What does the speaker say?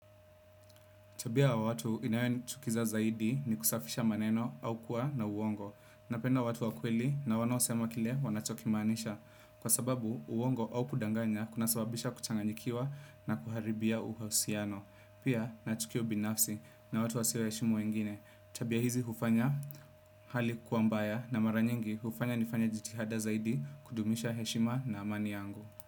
Tabia watu inayonichukiza zaidi ni kusafisha maneno au kuwa na uongo. Napenda watu wakweli na wanaoosema kile wanachokimanisha. Kwa sababu uongo au kudanganya, kuna sababisha kuchanganyikiwa na kuharibia uhausiano. Pia na tukio binafsi na watu wasio heshimu wengine. Tabia hizi ufanya hali kuwa mbaya na mara nyingi hufanya nifanya jitihada zaidi kudumisha heshima na amani yangu.